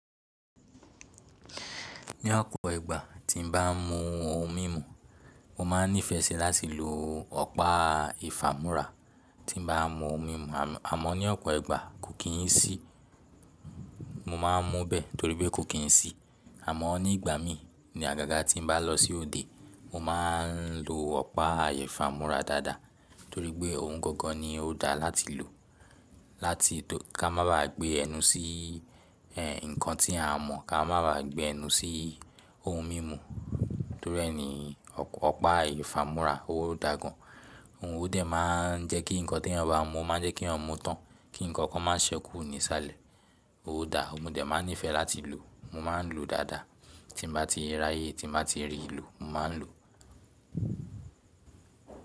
Ní ọ̀pọ̀ ìgbà tí n bá mún ohun mímu mo máa n nífẹẹ sí láti lò ọ̀pá ìfàmúrà. Tí n bá mú ohun mímu àmọ́ ní ọ̀pọ̀ ìgbà kò kí n sí mo máa n mú bẹ́ẹ̀ torí pé kò kí n sí àmọ́ ní ìgbà mí ní àgàgà tí n bá lọ sí òde mo má n lò ọ̀pá ìfàmúrà dáadáa torí pé ohun gangan ni ó dáa láti lò láti kí a má ba gbé ẹnu sí ẹn nǹkan tí a mọ̀ kí a má ba gbé ẹnu sí ohun mímu torí ẹni ọ̀pá ìfàmúrà ó dáa gan an. Òun òdẹ̀ máa n jẹ́ kí ǹkan tí ẹ bá mú máa n jẹ́ kí ẹ mú tán kí ǹkan kan má n sẹ́kù ní ìsàlẹ̀, ó dáa. Mo dè máa nífẹ̀ẹ́ láti lò, mo má n lò dáadáa tí n bá ti raye tí n bá ti rí lò mo ma n lò.